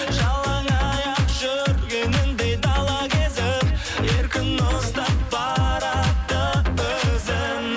жалаңаяқ жүргеніндей дала кезіп еркін ұстап барады өзін